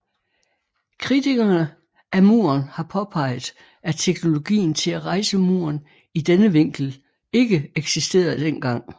Kritikerne af muren har påpeget at teknologien til at rejse muren i denne vinkel ikke eksisterede den gang